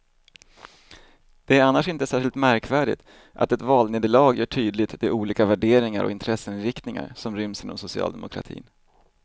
Det är annars inte särskilt märkvärdigt att ett valnederlag gör tydligt de olika värderingar och intresseinriktningar som ryms inom socialdemokratin.